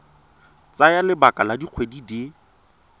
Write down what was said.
tsaya lebaka la dikgwedi di